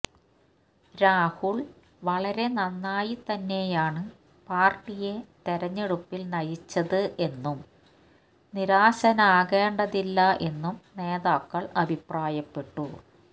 രാഹുൽ വളരെ നന്നായി തന്നെയാണ് പാർട്ടിയെ തെരഞ്ഞെടുപ്പിൽ നയിച്ചത് എന്നും നിരാശനാകേണ്ടതില്ല എന്നും നേതാക്കൾ അഭിപ്രായപ്പെട്ടു